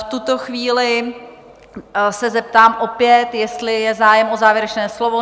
V tuto chvíli se zeptám opět, jestli je zájem o závěrečné slovo?